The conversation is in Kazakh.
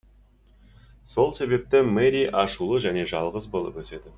сол себепті мэри ашулы және жалғыз болып өседі